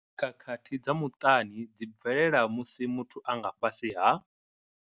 Khakhathi dza muṱani dzi bvelela musi muthu a nga fhasi ha.